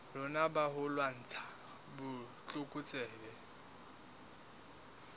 rona ba ho lwantsha botlokotsebe